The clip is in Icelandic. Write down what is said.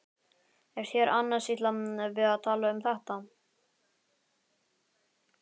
Er þér annars illa við að tala um þetta?